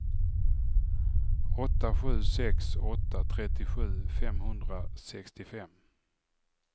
åtta sju sex åtta trettiosju femhundrasextiofem